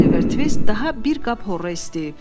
Oliver Tvist daha bir qab horra istəyib.